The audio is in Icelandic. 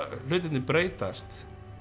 hlutirnir breytast